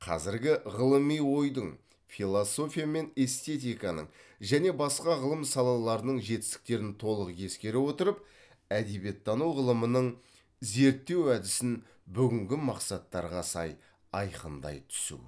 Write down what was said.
қазіргі ғылыми ойдың философия мен эстетиканың және басқа ғылым салаларының жетістіктерін толық ескере отырып әдебиеттану ғылымының зерттеу әдісін бүгінгі мақсаттарға сай айқындай түсу